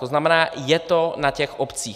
To znamená, je to na těch obcích.